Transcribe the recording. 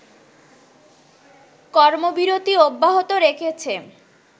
কর্মবিরতি অব্যাহত রেখেছে